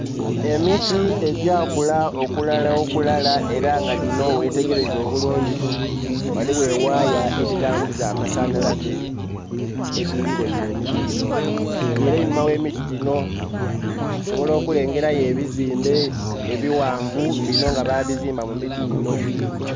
Emiti egya kula okulalakulala era nga dino wo wetegereza obulungi waliwo ewaaya edhitambuza amasanalaze edirilaine emiti gino. nga era einhuma w' emiti gino, tusoobola okulengerayo ebizimbe ebiwanvu bino nga babizimba mu miti gino